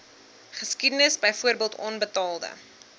geskiedenis byvoorbeeld onbetaalde